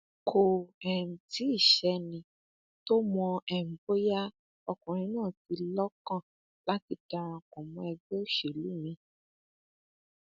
kò um tí ì sẹni tó mọ um bóyá ọkùnrin náà ní i lọkàn láti darapọ mọ ẹgbẹ òṣèlú miín